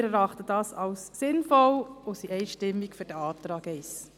Wir erachten dies als sinnvoll und sprechen uns einstimmig für den Antrag 1 aus.